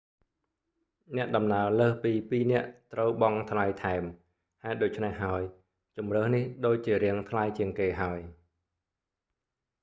អ្នកដំណើរលើសពី 2 នាក់ ត្រូវបង់ថ្លៃថែម ហេតុដូច្នេះហើយ ជម្រើសនេះដូចជារាងថ្លៃជាងគេហើយ